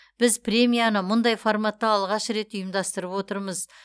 біз премияны мұндай форматта алғаш рет ұйымдастарып отырмыз